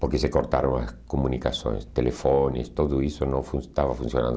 Porque se cortaram as comunicações, telefones, tudo isso não fun estava funcionando.